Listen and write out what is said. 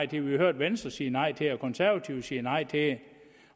det vi har hørt venstre sige nej til de konservative sige nej til det